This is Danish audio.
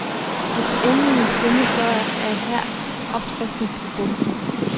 Hvis du endelig vil synde, så er her opskriften på bomben.